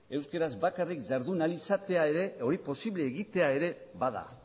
euskaraz bakarrik jardun ahal izatea ere hori posiblea egitea ere bada